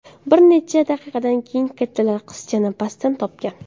Bir necha daqiqadan keyin kattalar qizchani pastdan topgan.